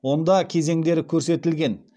онда кезеңдері көрсетілген